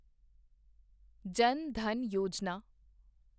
ਜਨ ਧਨ ਯੋਜਨਾ